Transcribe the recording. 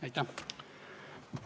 Aitäh!